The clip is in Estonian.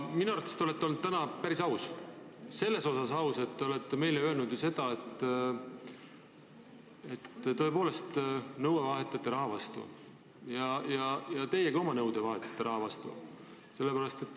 Minu arvates te olete olnud täna päris aus – selles osas, et olete meile öelnud, et tõepoolest nõue vahetatakse raha vastu ja ka teie olete oma nõude vahetanud raha vastu.